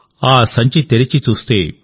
కుమ్మరి సంచి తెరిచి చూస్తే